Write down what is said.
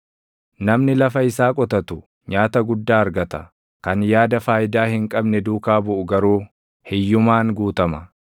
Namni lafa isaa qotatu nyaata guddaa argata; kan yaada faayidaa hin qabne duukaa buʼu garuu // hiyyumaan guutama.